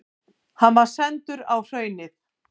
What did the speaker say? Hann var sendur á Hraunið.